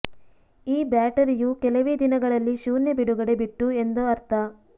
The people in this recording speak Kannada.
ಈ ಬ್ಯಾಟರಿಯು ಕೆಲವೇ ದಿನಗಳಲ್ಲಿ ಶೂನ್ಯ ಬಿಡುಗಡೆ ಬಿಟ್ಟು ಎಂದು ಅರ್ಥ